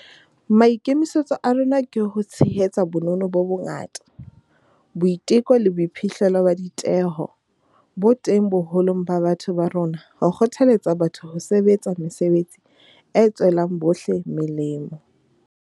Maikemisetso a rona ke ho tshehetsa bonono bo bongata, boiteko le boiphihlo ba ditheho bo teng boholong ba batho ba rona ho kgothaletsa batho ho sebetsa mesebetsi e tswelang bohle melemo.